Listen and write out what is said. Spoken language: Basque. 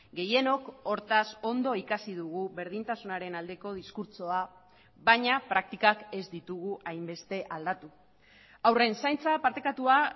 gehienok hortaz ondo ikasi dugu berdintasunaren aldeko diskurtsoa baina praktikak ez ditugu hainbeste aldatu haurren zaintza partekatua